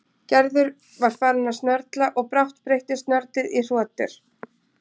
Gerður var farin að snörla og brátt breyttist snörlið í hrotur.